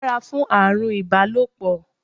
Ṣọ́ra fún àrùn ibalopo!